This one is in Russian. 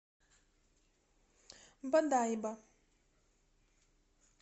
бодайбо